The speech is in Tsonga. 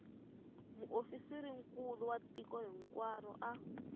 muofisirinkulu wa tiko hinkwaro a